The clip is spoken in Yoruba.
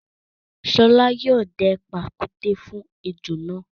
Ṣọlá yóò dẹ pàkúté fún ejò náà.